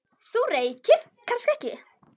Þú reykir kannski ekki?